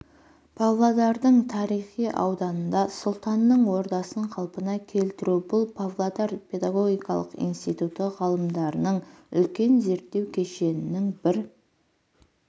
павлодардың тарихи ауданында сұлтанның ордасын қалпына келтіру бұл павлодар педагогикалық институты ғалымдарының үлкен зерттеу кешенінің бір